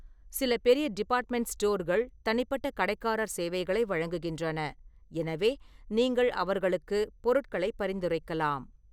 சில பெரிய டிபார்ட்மெண்ட் ஸ்டோர்கள் தனிப்பட்ட கடைக்காரர் சேவைகளை வழங்குகின்றன, எனவே நீங்கள் அவர்களுக்கு பொருட்களை பரிந்துரைக்கலாம்.